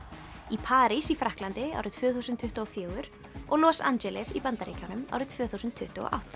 í París í Frakklandi árið tvö þúsund tuttugu og fjögur og Los Angeles í Bandaríkjunum árið tvö þúsund tuttugu og átta